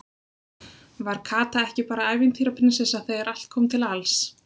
Var Kata ekki bara ævintýra- prinsessa þegar allt kom til alls?